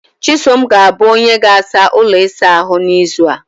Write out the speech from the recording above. chisom ga-abụ onye ga-asa ụlọ isa ahụ n'izu a